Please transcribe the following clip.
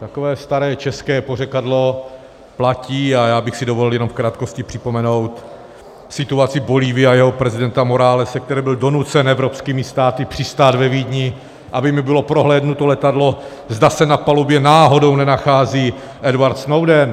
Takové staré české pořekadlo platí a já bych si dovolil jenom v krátkosti připomenout situaci Bolívie a jejího prezidenta Moralese, který byl donucen evropskými státy přistát ve Vídni, aby mu bylo prohlédnuto letadlo, zda se na palubě náhodou nenachází Edward Snowden.